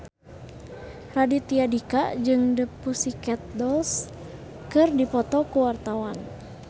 Raditya Dika jeung The Pussycat Dolls keur dipoto ku wartawan